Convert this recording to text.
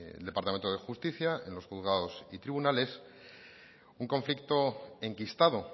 el departamento de justicia en los juzgados y tribunales un conflicto enquistado